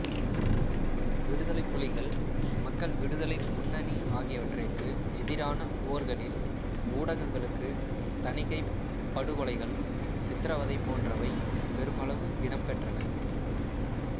விடுதலைப் புலிகள் மக்கள் விடுதலை முன்னணி ஆகியவற்றிற்கு எதிரான போர்களில் ஊடகங்களுக்கு தணிக்கை படுகொலைகள் சித்திரவதை போன்றவை பெருமளவு இடம்பெற்றன